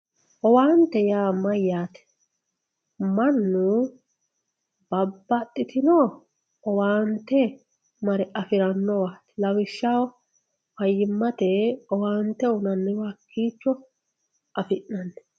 Owante yaa mayate mannu babaxitino owante mare afiranowat lawishshaho fayimate owante uyinaniwa hakicho afinani